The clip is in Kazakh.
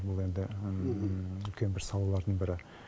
бұл енді үлкен бір салалардың бірі